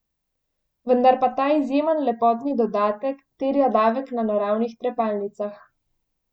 Vendar pa ta izjemen lepotni dodatek terja davek na naravnih trepalnicah.